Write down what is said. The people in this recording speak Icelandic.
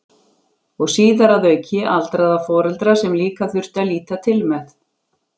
Og síðar að auki aldraða foreldra sem líka þurfti að líta til með.